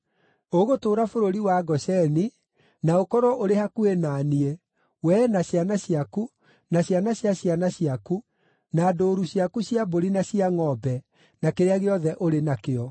Ũgũtũũra bũrũri wa Gosheni na ũkorwo ũrĩ hakuhĩ na niĩ, wee na ciana ciaku, na ciana cia ciana ciaku, na ndũũru ciaku cia mbũri na cia ngʼombe, na kĩrĩa gĩothe ũrĩ nakĩo.